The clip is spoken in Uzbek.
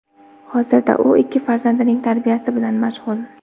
Hozirda u ikki farzandining tarbiyasi bilan mashg‘ul.